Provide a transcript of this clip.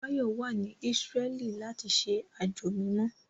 Báyọ̀ wà ní Ísírẹ́lì láti ṣe àjò mímọ́